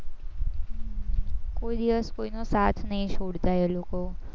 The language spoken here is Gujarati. કોઈ દિવસ કોઈનો સાથ નઈ છોડતા એ લોકો